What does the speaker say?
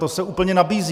To se úplně nabízí.